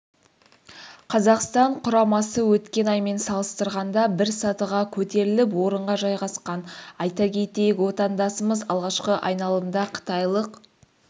қазақстан құрамасы өткен аймен салыстырғанда бір сатыға көтеріліп орынға жайғасқан айта кетейік отандасымыз алғашқы айналымда қытайлық